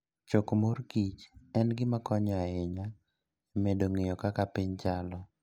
Choko mor kich en gima konyo ahinya e medo ng'eyo kaka piny chalo.